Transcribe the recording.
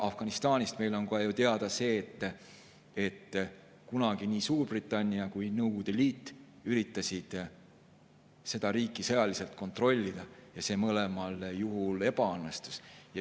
Afganistanist on meile ju teada see, et kunagi nii Suurbritannia kui ka Nõukogude Liit üritasid seda riiki sõjaliselt kontrollida ja see mõlemal juhul ebaõnnestus.